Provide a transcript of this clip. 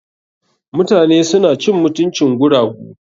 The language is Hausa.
Mutane suna cin mutuncin guragu.